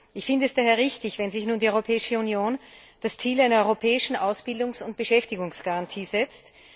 Ich finde es daher richtig, wenn sich nun die Europäische Union das Ziel einer europäischen Ausbildungs und Beschäftigungsgarantie setzt.